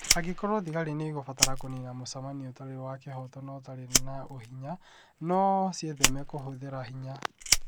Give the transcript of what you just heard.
Angĩkorũo thigari nĩ ikũbatara kũniina mũcemanio ũtarĩ wa kĩhooto na ũtarĩ na ũhinya, no ciĩtheme kũhũthĩra hinya.